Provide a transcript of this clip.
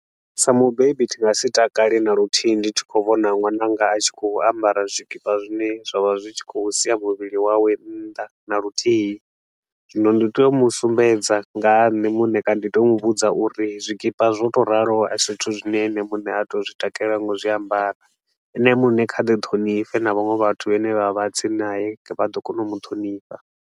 Sa mubebi ndi nga si takali na luthihi ndi tshi khou vhona ṅwananga a tshi khou ambara zwikipa zwine zwa vha zwi tshi khou sia muvhili wawe nnḓa na luthihi. Zwino ndi tea u mu sumbedza nga ha nṋe muṋe kana ndi tea u mu vhudza uri zwikipa zwo tou ralo a si zwithu zwine ene muṋe a tea u zwi takalela nga u zwiambara, ene muṋe kha ḓi ṱhonifhe na vhaṅwe vhathu vhane vha vha tsini nae vha ḓo kona u mu ṱhonifha.